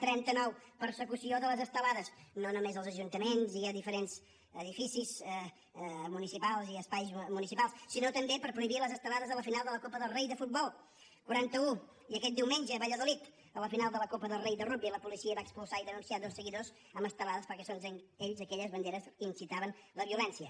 trenta nou persecució de les estelades no només als ajuntaments i a diferents edificis municipals i espais municipals sinó també per prohibir les estelades a la final de la copa del rei de futbol quaranta u i aquest diumenge a valladolid a la final de la copa del rei de rugbi la policia va expulsar i denunciar dos seguidors amb estelades perquè segons ells aquelles banderes incitaven la violència